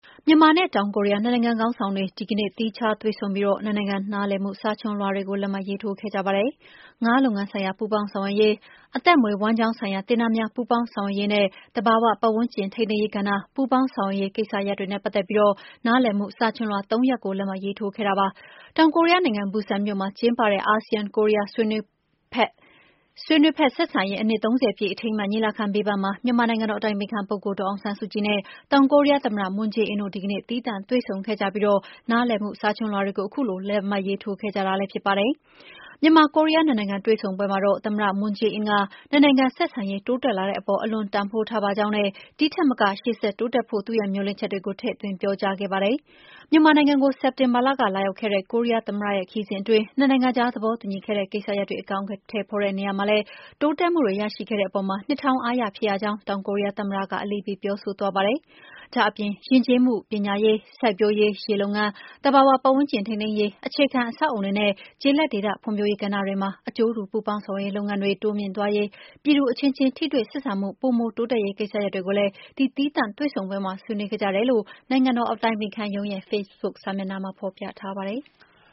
မြန်မာနဲ့ တောင်ကိုရီးယား နှစ်နိုင်ငံခေါင်းဆောင်တွေ ဒီကနေ့ သီးခြား တွေ့ဆုံပြီး နှစ်နိုင်ငံနားလည်မှု စာချွန်လွှာတွေကို လက်မှတ်ရေးထိုးခဲ့ကြပါတယ်။ “ငါးလုပ်ငန်းဆိုင်ရာ ပူးပေါင်းဆောင်ရွက်ရေး” ၊ “အသက်မွေးဝမ်းကျောင်းဆိုင်ရာ သင်တန်းများ ပူးပေါင်းဆောင်ရွက်ရေး” နဲ့ “သဘာဝပတ်ဝန်းကျင်ထိန်း သိမ်းရေးကဏ္ဍ ပူးပေါင်း ဆောင်ရွက်ရေး” ကိစ္စရပ်တွေနဲ့ ပတ်သက်ပြီး နားလည်မှုစာချွန်လွှာ ၃ ရပ်ကို လက်မှတ်ရေးထိုးခဲ့ကြပါတယ်။ တောင်ကိုရီးယားနိုင်ငံ၊ ဘူဆန်မြို့မှာ ကျင်းပတဲ့ အာဆီယံ-ကိုရီးယားဆွေးနွေး ဖက်ဆက်ဆံရေး နှစ် ၃၀ ပြည့်အထိမ်းအမှတ် ညီလာခံ ဘေးပန်းမှာ မြန်မာနိုင်ငံတော်အတိုင်ပင်ခံပုဂ္ဂိုလ် ဒေါ်အောင်ဆန်းစုကြည်နဲ့ တောင်ကိုရီးယားသမ္မတ Moon Jae -in တို့ ဒီကနေ့ သေီးသန့်တွေ့ဆုံခဲ့ကြပြီး နားလည်မှုစာချွန်လွှာတွေကို ခုလို လက်မှတ်ရေးထိုးခဲ့ကြတာလည်းဖြစ်ပါတယ်။ မြန်မာ-ကိုရီးယား ၂ နိုင်ငံတွေ့ဆုံပွဲမှာတော့ သမ္မတ မွန်းဂျေးအင်းက နှစ်နိုင်ငံဆက်ဆံရေး တိုးတက်လာတဲ့အပေါ် အလွန် တန်ဖိုးထားပါ ကြောင်းနဲ့ ဒီထက်မက ရှေ့ဆက်တိုးတက်ဖို့ သူ့ရဲ့မျှော်လင့်ချက်တွေကို ထည့်သွင်း ပြောကြားခဲ့ပါတယ်။ မြန်မာနိုင်ငံကို စက်တင်ဘာလက လာရောက်ခဲ့တဲ့ ကိုရီးယားသမ္မတရဲ့ ခရီးစဉ်အတွင်း နှစ်နိုင်ငံကြား သဘောတူညီခဲ့တဲ့ကိစ္စရပ်တွေ အကောင်အထည်ဖော်တဲ့နေရာမှာ တိုးတက်မှုတွေရရှိခဲ့တဲ့အပေါ်မှာ နှစ်တောင်းအားရဖြစ်ရကြောင်း တောင်ကိုရီးယားသမ္မတက အလေးပေး ပြောဆိုသွားပါတယ်။ ဒါ့အပြင် ယဉ်ကျေးမှု၊ ပညာရေး၊ စိုက်ပျိုးရေး၊ ရေလုပ်ငန်း၊ သဘာ၀ ပတ်ဝန်း ကျင်ထိန်းသိမ်းရေး၊ အခြေခံအဆောက်အအုံတွေနဲ့ ကျေးလက်ဒေသ ဖွံ့ဖြိုးရေးကဏ္ဍတွေမှာ အကျိုးတူ ပူးပေါင်းဆောင်ရွက်ရေးလုပ်ငန်းတွေ တိုးမြှင့်သွားရေး၊ ပြည်သူအချင်းချင်းထိတွေ့ ဆက်ဆံမှု ပိုမို တိုးတက်ရေးကိစ္စတွေကိုလည်း ဒီ သီးသန့်တွေ့ဆုံပွဲမှာ ဆွေးနွေးခဲ့ကြတယ်လို့ နိုင်ငံတော်အတိုင်ပင်ခံရုံးရဲ့ ဖေ့ဘုတ်စာမျက်နှာမှာ ဖော်ပြထားပါတယ်။